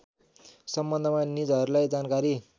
सम्बन्धमा निजहरूलाई जानकारी